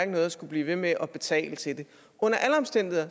noget at skulle blive ved med at betale til det under alle omstændigheder